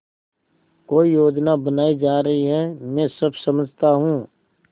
कोई योजना बनाई जा रही है मैं सब समझता हूँ